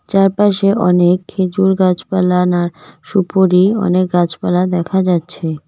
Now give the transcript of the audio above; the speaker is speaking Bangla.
চারপাশে অনেক খেজুর গাছপালা নার সুপোরী অনেক গাছপালা দেখা যাচ্ছে।